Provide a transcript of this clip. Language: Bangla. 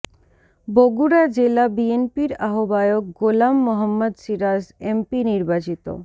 বগুড়া জেলা বিএনপির আহ্বায়ক গোলাম মোহাম্মদ সিরাজ এমপি নির্বাচিত